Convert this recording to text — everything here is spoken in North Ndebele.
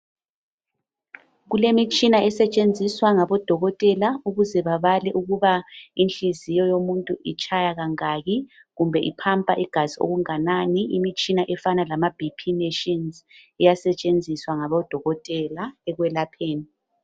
Kulemitshina esetshenziswa ngabodokotela ukuze babale ukuba inhliziyo yomuntu itshaya kangaki kumbe i pumper igazi okunganani okufana. Imitshina efana lama BP machines iyasetshenziswa ngabodokotela ekwelapheni